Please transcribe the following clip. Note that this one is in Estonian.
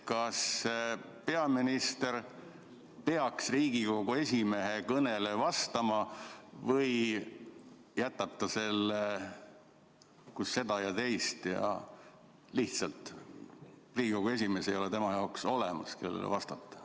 Kas peaminister peaks Riigikogu esimehe kõnele vastama või jätab ta selle kus seda ja teist ning Riigikogu esimeest lihtsalt ei ole tema jaoks olemas?